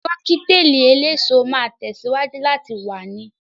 Kọ́kítelì eléso máa tẹ̀síwájú láti wà ni